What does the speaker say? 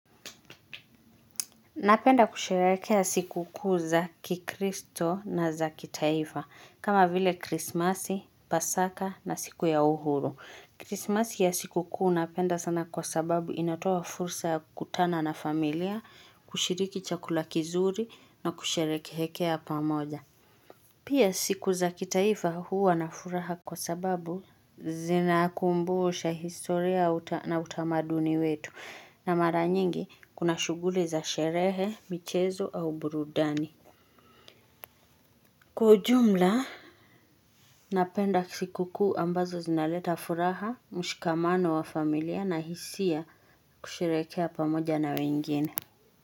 Napenda kusherehekea siku kuu za kikristo na za kitaifa kama vile krismasi, pasaka na siku ya uhuru. Krismasi ya siku kuu napenda sana kwa sababu inatoa fursa ya kukutana na familia, kushiriki chakula kizuri na kusherehekea pamoja. Pia siku za kitaifa huwa na furaha kwa sababu zinakumbusha historia na utamaduni wetu na mara nyingi kuna shughuli za sherehe, michezo au burudani. Kwa ujumla, napenda siku kuu ambazo zinaleta furaha, mshikamano wa familia na hisia kusherehekea pamoja na wengine.